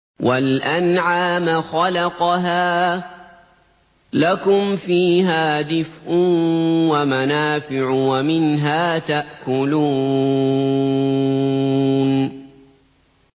وَالْأَنْعَامَ خَلَقَهَا ۗ لَكُمْ فِيهَا دِفْءٌ وَمَنَافِعُ وَمِنْهَا تَأْكُلُونَ